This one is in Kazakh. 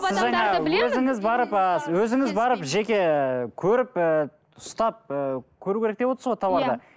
сіз жаңа өзіңіз барып ы өзіңіз барып жеке көріп ііі ұстап і көру керек деп отырсыз ғой тауарды